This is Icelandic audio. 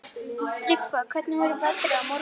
Tryggva, hvernig er veðrið á morgun?